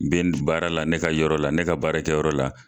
baara la ne ka yɔrɔ la ne ka baarakɛ yɔrɔ la.